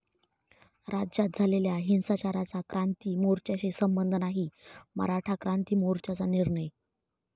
राज्यात झालेल्या हिंसाचाराचा क्रांती मोर्च्याशी संबंध नाही, मराठा क्रांती मोर्चाचा निर्णय